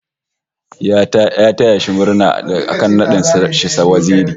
Ya taya shi murna da aka nada shi waziri